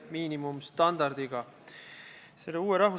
Kas siis tõesti ei ole?